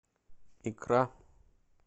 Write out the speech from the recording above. икра